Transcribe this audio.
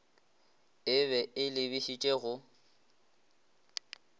e be e lebišitše go